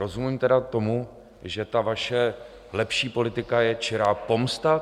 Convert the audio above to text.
Rozumím tedy tomu, že ta vaše lepší politika je čirá pomsta?